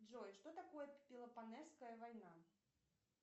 джой что такое пелопоннесская война